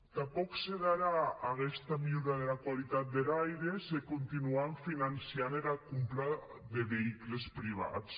tanpòc se darà aguesta milhora dera qualitat der aire se continuam finançant era compra de veïculs privats